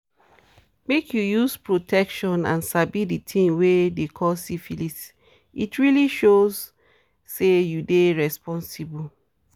make you use protection and sabi the things they call syphilis it really show say you dey responsible